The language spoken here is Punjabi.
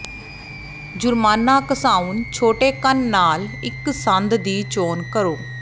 ਜੁਰਮਾਨਾ ਘਸਾਉਣ ਛੋਟੇਕਣ ਨਾਲ ਇੱਕ ਸੰਦ ਦੀ ਚੋਣ ਕਰੋ